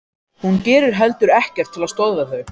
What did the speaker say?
Hún gerir heldur ekkert til að stöðva þau.